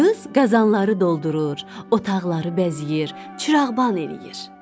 Qız qazanları doldurur, otaqları bəzəyir, çırağban eləyir.